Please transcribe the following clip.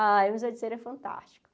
A o museu de cera é fantástico.